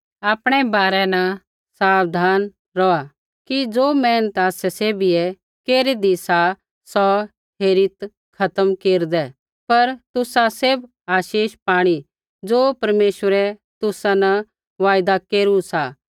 आपणै बारै न साबधान रौहा कि ज़ो मेहनत आसै सैभियै केरीदी सा सौ हेरित खत्म केरदै पर तुसा सैभ आशीष पाणी ज़ो परमेश्वरै तुसा न वायदा केरू सा